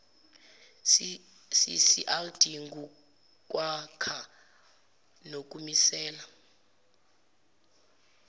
ccrd ngukwakha nokumisela